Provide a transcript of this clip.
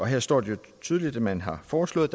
her står det jo tydeligt at man har foreslået